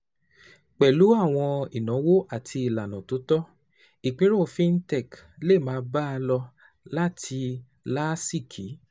Pẹ̀lú àwọn ìnáwó àti ìlànà tó tọ́, ìpínrọ̀ fintech lè máa bá a lọ láti láásìkí